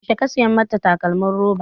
Yaushe ka saya mata takalmin roba?